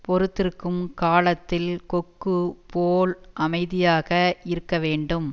பொறுத்திருக்கும் காலத்தில் கொக்குப் போல் அமைதியாக இருக்க வேண்டும்